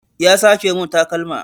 Ya sace mun takalma